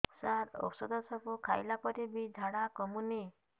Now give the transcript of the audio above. ସାର ଔଷଧ ସବୁ ଖାଇଲା ପରେ ବି ଝାଡା କମୁନି